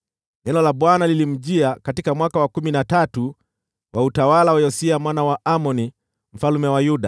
Neno la Bwana lilimjia katika mwaka wa kumi na tatu wa utawala wa Yosia mwana wa Amoni mfalme wa Yuda,